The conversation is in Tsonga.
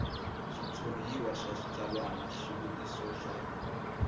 switshuriwa swa switsalwana xivutiso xa